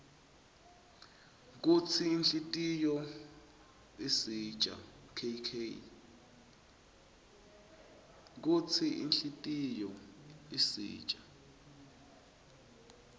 kutsi inhutiyo isitjya kk nqeularqa